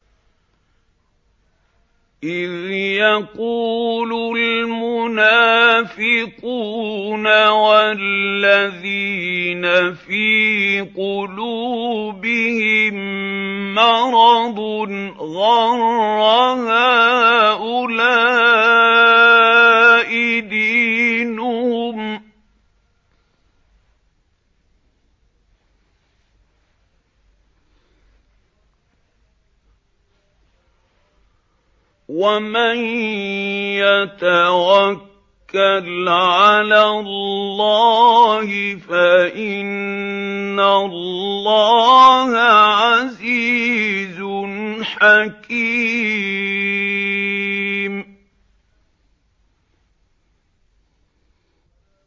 إِذْ يَقُولُ الْمُنَافِقُونَ وَالَّذِينَ فِي قُلُوبِهِم مَّرَضٌ غَرَّ هَٰؤُلَاءِ دِينُهُمْ ۗ وَمَن يَتَوَكَّلْ عَلَى اللَّهِ فَإِنَّ اللَّهَ عَزِيزٌ حَكِيمٌ